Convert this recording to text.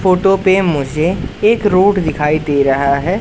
Photo पे मुझे एक रोड दिखाई दे रहा है।